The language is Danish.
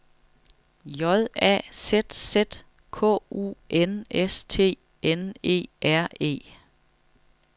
J A Z Z K U N S T N E R E